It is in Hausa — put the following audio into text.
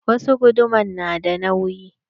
Wasu guduman na da nauyi.